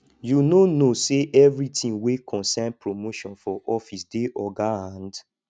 you no know sey everytin wey concern promotion for office dey oga hand